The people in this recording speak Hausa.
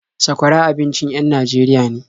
Sakwara abincin en Najeriya ne.